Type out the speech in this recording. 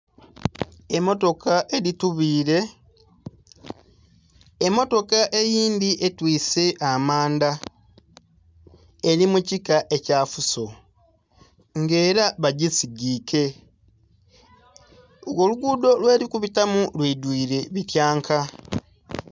Emmotoka edhitubile, emmotoka eyindhi etwise amanda eri mukika ekya fuso nga era bagisigike nga olugudho lwe likubitamu lwidwile ebityanka.